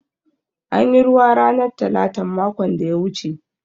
An yi ruwa ranar talatan makon da ya wuce.